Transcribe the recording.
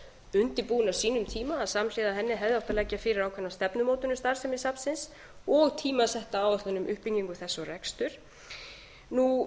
undirbúin á sínum tíma samhliða henni hefði átt að leggja fyrir ákveðna stefnumótun um starfsemi safnsins og tímasetta áætlun um uppbyggingu þess og rekstur ég